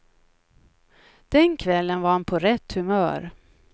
Den kvällen var han på rätt humör.